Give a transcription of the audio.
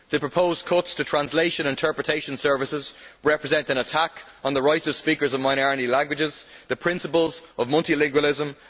The proposed cuts to translation and interpretation services represent an attack on the rights of speakers of minority languages and the principles of multilingualism.